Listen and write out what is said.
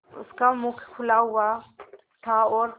उसका मुख खुला हुआ था और